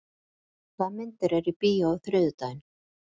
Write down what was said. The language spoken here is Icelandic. Ármey, hvaða myndir eru í bíó á þriðjudaginn?